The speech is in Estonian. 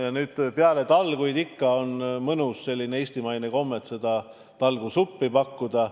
Ja peale talguid ikka on olnud mõnus eestimaine komme talgusuppi pakkuda.